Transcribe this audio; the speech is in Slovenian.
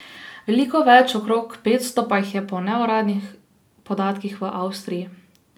Veliko več, okrog petsto, pa jih je po neuradnih podatkih v Avstriji.